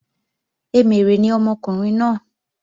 Emèrè ni ọmọkùnrin náà